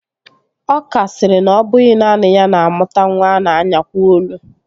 Ọka sịrị na ọ bụghị naanị ya na-amụta nwa a na-anyakwo olu